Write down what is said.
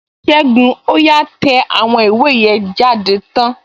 Ségun, ó yá tẹ àwọn ìwé yẹn jáde tán!